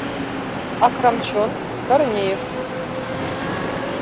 акрамчон корнеев